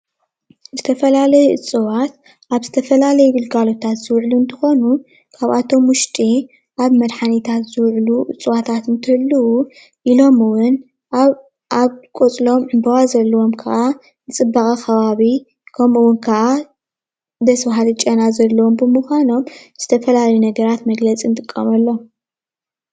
ዝተፈላለዩ እፅዋት አብ ዝተፈላለዪ ግልጋሎታት ዝዉዕሉ እንትኮኑ ካብኣቶም ዉሽጢ ኣብ መዳሓኒታት ዝውዕሉ እፅዋታት እንትህልው ኢሎም እውን ኣብ ቆፅሎም ዕምበባ ዘለውም ከዓ ንፅባቀ ከባቢ ከምኡ ዉን ከዓ ደስ በሃሊ ጨና ዘለዎም ብምካኖም ዝተፈላለዩ ነገራት መግለፂ ንጥቀመሎም።